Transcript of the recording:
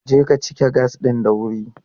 Je ka cike gas ɗin da wuri!